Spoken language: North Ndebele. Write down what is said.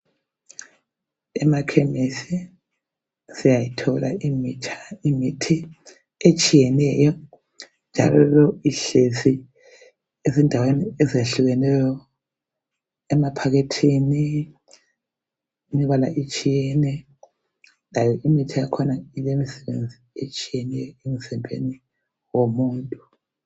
Emakhemisi siyayithola imithi etshiyeneyo njalo ihlezi ezindaweni ezehlukeneyo emaphakethini imbala itshiyene layo imithi yakhona ilemisebenzi etshiyeneyo emzimbeni womuntu.